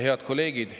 Head kolleegid!